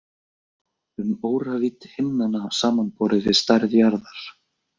Um óravídd himnanna samanborið við stærð jarðar.